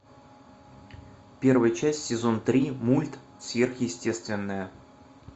первая часть сезон три мульт сверхъестественное